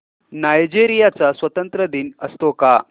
Nigeria चा स्वातंत्र्य दिन असतो का